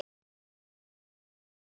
Er þetta ekki komið nóg?